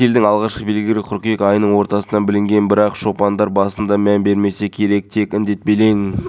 үш баланы жалғыз тәрбиелеп отырғандықтан мен үшін бірден үш баланы мектеп пен институтқа дайындау өте қиын